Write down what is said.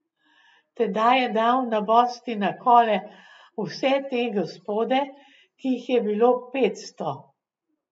Tedaj je dal nabosti na kole vse te gospode, ki jih je bilo petsto.